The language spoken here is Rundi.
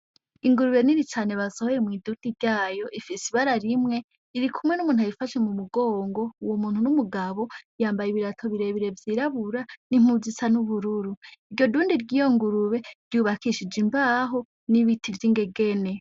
Ingurube nini cane basohoye mw'idundi ryayo ifise ibara rimwe irikumwe numuntu ayifashe mu mugongo uwo muntu ni umugabo yambaye ibirato birebire vyirabura nimpuzu isa nubururu iryo dundi ryiyo ngurube ryubakishije imbaho nibiti vyingegene.